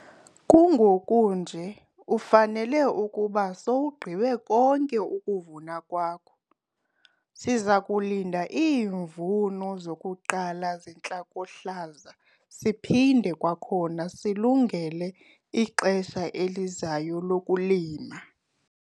Kungoku nje ufanele ukuba sowugqibe konke ukuvuna kwakho. Siza kulinda iimvula zokuqala zentlakohlaza siphinde kwakhona silungele ixesha elizayo lokulima.